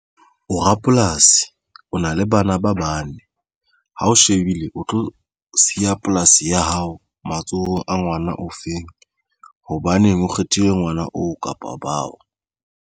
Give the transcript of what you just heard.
O rapolasi o na le bana ba bane ha o shebile o tlo siya polasi ya hao matsohong a ngwana o feng, hobaneng o kgethile ngwana oo kapa bao.